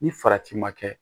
Ni farati ma kɛ